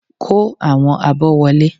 Kó àwọn abọ́ wọlé!